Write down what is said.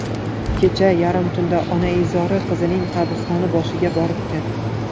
Kecha yarim tunda onaizori qizining qabristoni boshiga boribdi.